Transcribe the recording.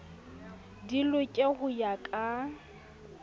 di loke ho ya ka